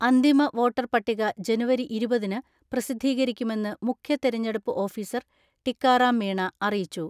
അന്തിമ വോട്ടർ പട്ടിക ജനുവരി ഇരുപതിന് പ്രസിദ്ധീകരിക്കുമെന്ന് മുഖ്യ തിരഞ്ഞെടുപ്പ് ഓഫീസർ ടിക്കാറാം മീണ അറിയിച്ചു.